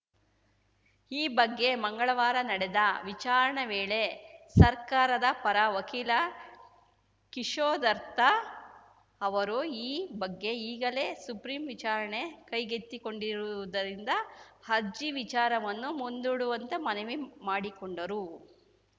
ಈ ಬಗ್ಗೆ ಮಂಗಳವಾರ ನಡೆದ ವಿಚಾರಣೆ ವೇಳೆ ಸರ್ಕಾರದ ಪರ ವಕೀಲ ಕಿಶೋರ್‌ ದತ್ತಾ ಅವರು ಈ ಬಗ್ಗೆ ಈಗಲೇ ಸುಪ್ರಿಂ ವಿಚಾರಣೆ ಕೈಗೆತ್ತಿಕೊಂಡಿರುವುದರಿಂದ ಅರ್ಜಿ ವಿಚಾರವನ್ನು ಮುಂದೂಡುವಂತೆ ಮನವಿ ಮಾಡಿಕೊಂಡರು